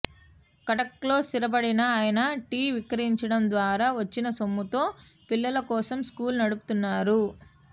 కటక్లో స్థిరపడిన ఆయన టీ విక్రయించడం ద్వారా వచ్చిన సొమ్ముతో పిల్లల కోసం స్కూల్ నడుపుతున్నారు